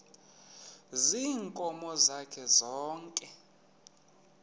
ziinkomo zakhe zonke